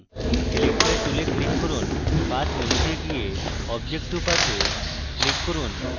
selector tool click করুন path মেনুতে গিয়ে object to path এ click করুন